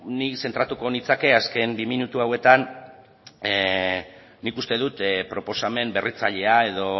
ni zentratuko nintzateke azken bi minutu hauetan nik uste dut proposamen berritzailea edo